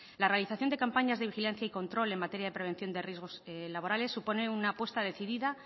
la realización de campañas de vigilancia y control en materia de prevención de riesgos laborales supone una apuesta decidida